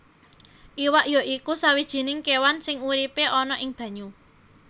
Iwak ya iku sawijining kéwan sing uripé ana ing banyu